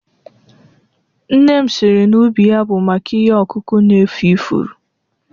Nne m siri na ubi ya bụ maka ihe ọkụkụ na efu ifuru